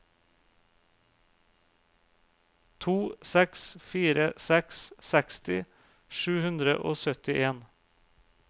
to seks fire seks seksti sju hundre og syttien